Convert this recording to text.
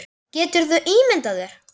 Geturðu ímyndað þér.